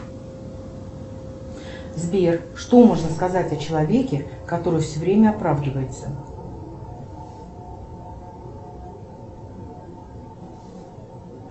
сбер что можно сказать о человеке который все время оправдывается